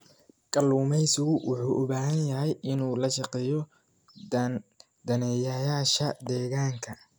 Kalluumeysigu wuxuu u baahan yahay inuu la shaqeeyo daneeyayaasha deegaanka.